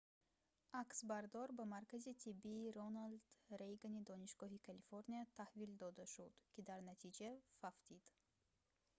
аксбардор ба маркази тиббии роналд рейгани донишгоҳи калифорния таҳвил дода шуд ки дар натиҷа фавтид